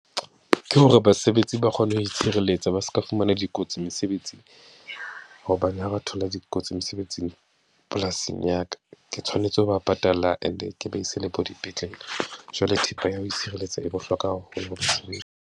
Ke hore basebetsi ba kgone ho itshireletsa ba seke ba fumana dikotsi mesebetsing, hobane ha ba thola dikotsi mesebetsing, polasing ya ka. Ke tshwanetse ho ba patala and-e ke ba ise le bo dipetlele. Jwale thepa ya ho itshireletsa e bohlokwa haholo .